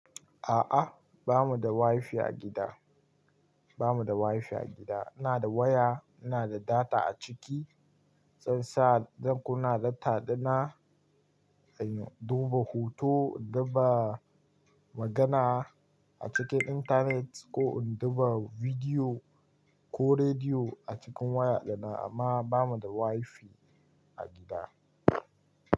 A'a, ba mu da wifi a gida, ba mu da wifi a gida. Ina da waya, ina da data a ciki, zansa don kuna data dina, in duba hoto, in duba magana a cikin internet ko in duba bidiyo ko rediyo a cikin waya dana amma ba mu da wifi a gida.